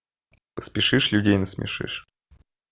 поспешишь людей насмешишь